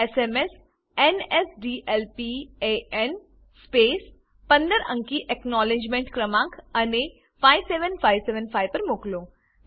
SMS NSDLPANસ્પેસ15 અંકી acknowledgement ક્રમાંક અને 57575 પર મોકલો